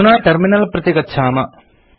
अधुना टर्मिनल प्रति गच्छाम